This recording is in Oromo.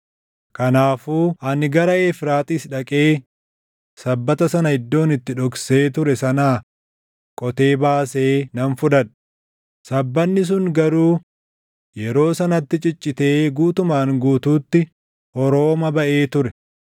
Kanaafuu ani gara Efraaxiis dhaqee sabbata sana iddoon itti dhoksee ture sanaa qotee baasee nan fudhadhe; sabbanni sun garuu yeroo sanatti ciccitee guutumaan guutuutti horoomaa baʼee ture.